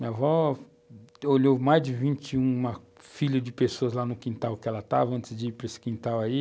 Minha avó olhou mais de 21 filhos de pessoas lá no quintal que ela estava, antes de ir para esse quintal aí.